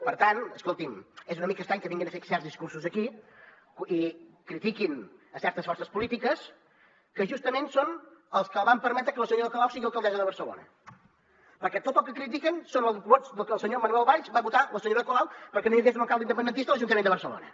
per tant escolti’m és una mica estrany que vinguin a fer certs discursos aquí i critiquin a certes forces polítiques que justament són els que van permetre que la senyora colau sigui alcaldessa de barcelona perquè tot el que critiquen són els vots del senyor manuel valls que va votar la senyora colau perquè no hi hagués un alcalde independentista a l’ajuntament de barcelona